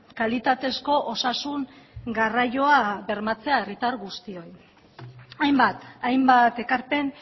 kalitatezko osasun garraioa bermatzea herritar guztiei hainbat hainbat ekarpen